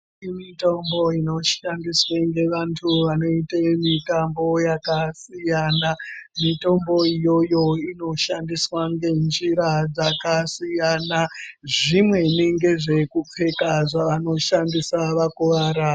Kune mitombo inoshandiswe ngevantu vanoite mitambo yakasiyana, mitombo iyoyo inoshandiswe ngenjira dzakasiyana zvimweni ngezvekupfeka zvavanoshandsia vakuvara.